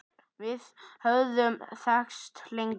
Við höfum þekkst lengi